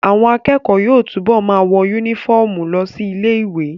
Àwọn akẹ́kọ̀ọ́ yóò túbọ̀ ma wọ yúnífọ̀mù lọ sí ilé ìwé